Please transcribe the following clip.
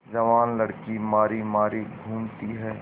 जवान लड़की मारी मारी घूमती है